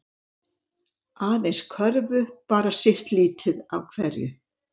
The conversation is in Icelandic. Aðeins körfu bara sitt lítið af hverju